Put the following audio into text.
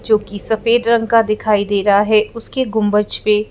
जो कि सफेद रंग का दिखाई दे रहा है उसके गुंबज पे --